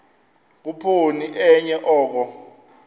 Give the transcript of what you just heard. khuphoni enye oko